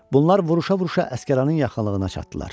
Bunlar vuruşa-vuruşa Əsgəranın yaxınlığına çatdılar.